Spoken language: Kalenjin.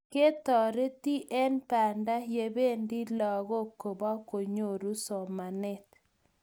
ketoreti eng Banda ya bendi lagook kobukongoru somanet